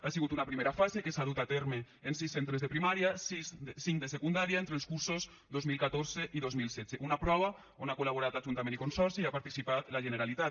ha sigut una primera fase que s’ha dut a terme en sis centres de primària i cinc de secundària entre els cursos dos mil catorze i dos mil setze una prova on han col·laborat ajuntament i consorci i hi ha participat la generalitat